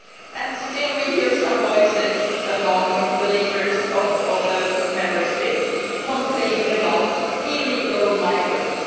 Yet still we hear some voices among the leaders of the Member States complaining about illegal migrants.